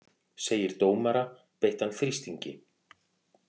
Segir dómara beittan þrýstingi